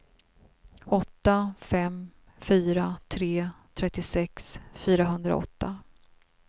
åtta fem fyra tre trettiosex fyrahundraåtta